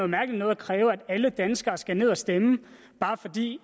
mærkeligt noget at kræve at alle danskere skal ned og stemme bare fordi